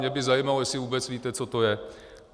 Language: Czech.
Mě by zajímalo, jestli vůbec víte, co to je.